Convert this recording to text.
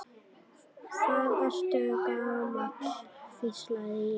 Hvað ertu gamall, hvísla ég.